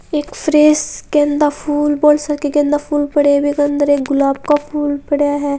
एक फ्रिस के अंदर फूल बोहोत से गेंदे फूल पड़े हुए अंदर एक गुलाब का फूल पड़ा है।